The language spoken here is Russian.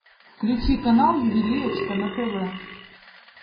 включи канал ювелирочка на тв